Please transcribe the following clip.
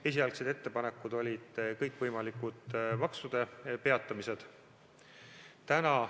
Esialgsed ettepanekud olid kõikvõimalikud maksude peatamised.